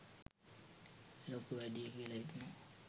ලොකු වැඩියි කියලා හිතුනා.